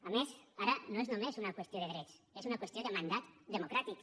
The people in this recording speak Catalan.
a més ara no és només una qüestió de drets és una qüestió de mandat democràtic